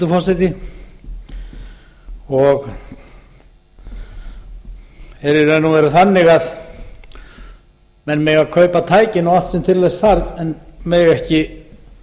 er í raun og veru þannig að menn mega kaupa tækin og allt sem til þess þarf en mega ekki